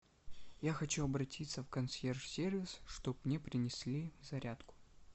я хочу обратиться в консьерж сервис чтоб мне принесли зарядку